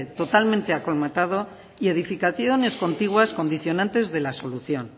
totalmente colmatado y edificaciones contiguas condicionantes de la solución